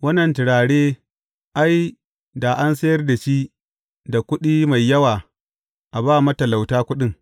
Wannan turare ai, da an sayar da shi da kuɗi mai yawa a ba matalauta kuɗin.